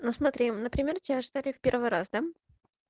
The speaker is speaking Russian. ну смотри например тебя ждали в первый раз да